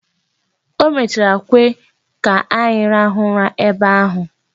O mechara kwe ka anyị rahụ ụra ebe ahụ.